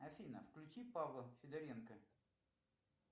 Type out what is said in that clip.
афина включи павла федоренко